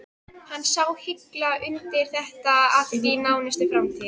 Hann sá hilla undir þetta allt í nánustu framtíð.